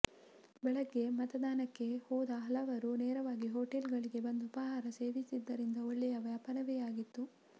ಬೆಳಗ್ಗೆ ಮತದಾನಕ್ಕೆ ಹೋದ ಹಲವರು ನೇರವಾಗಿ ಹೋಟೆಲ್ಗಳಿಗೆ ಬಂದು ಉಪಹಾರ ಸೇವಿಸಿದ್ದರಿಂದ ಒಳ್ಳೆಯ ವ್ಯಾಪಾರವೇ ಆಗಿತ್ತು